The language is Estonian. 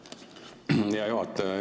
Aitäh, hea juhataja!